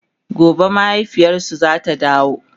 gobe mahaifiyarsu zata dawo